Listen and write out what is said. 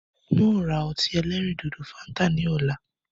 Ń ó ra ọtí ẹlẹ́rìndòdò "Fanta" ni ọ̀la.